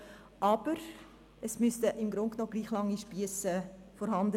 Aber alle müssten im Grunde genommen gleich lange Spiesse haben.